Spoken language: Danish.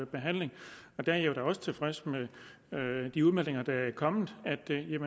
behandling og der er jeg da også tilfreds med de udmeldinger der er kommet